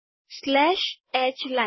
slash H line